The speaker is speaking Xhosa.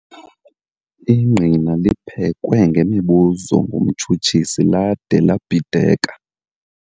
Ingqina liphekwe ngemibuzo ngumtshutshisi lade labhideka.